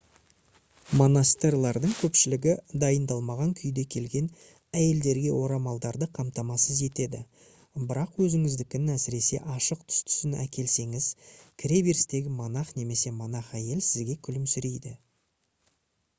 монастырьлардың көпшілігі дайындалмаған күйде келген әйелдерге орамаларды қамтамасыз етеді бірақ өзіңіздікін әсіресе ашық түстісін әкелсеңіз кіреберістегі монах немесе монах әйел сізге күлімсірейді